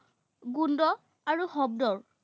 গুন্দ, আৰু শব্দৰ